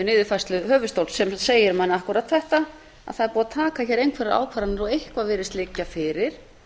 niðurfærslu höfuðstóls sem segir manni akkúrat þetta það er búið að taka hér einhverjar ákvarðanir og eitthvað virðist liggja fyrir